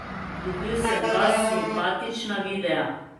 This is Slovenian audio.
Dobil sem dva simpatična videa.